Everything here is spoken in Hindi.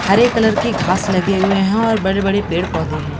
हरे कलर के घास लगे हुए हैं और बड़े-बड़े पेड़-पौधे हैं।